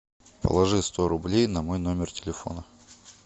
положи сто рублей на мой номер телефона